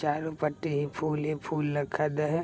चारों पट्टी ही फूल ही फूल लखल है।